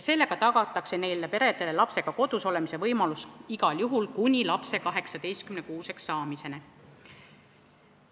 Sellega tagatakse neile peredele lastega kodus olemise võimalus igal juhul kuni lapse 18-kuuseks saamiseni.